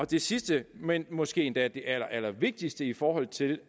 det sidste men måske endda det allerallervigtigste i forhold til